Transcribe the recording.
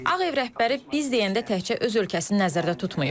Ağ Ev rəhbəri biz deyəndə təkcə öz ölkəsini nəzərdə tutmayıb.